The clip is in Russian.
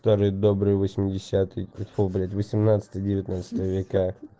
старые добрые восьмидесятые тьфу блять восемнадцатые девятнадцатые века